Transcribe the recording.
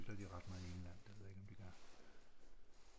Cykler de ret meget i England det ved jeg ikke om de gør